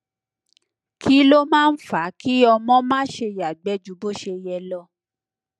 kí ló máa ń fa kí ọmọ máa ṣe yàgbẹh ju bó ṣe yẹ lọ